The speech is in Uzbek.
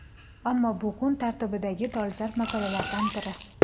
Ammo bu kun tartibidagi dolzarb masalalardan biri.